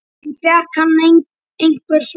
En fékk hann einhver svör?